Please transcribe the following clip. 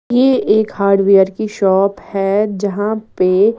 ये एक हार्डवेयर की शॉप है जहाँ पे --